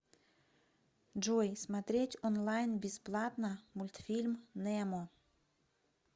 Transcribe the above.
джой смотреть онлайн бесплатно мультфильм немо